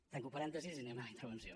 tanco parèntesis i anem a la intervenció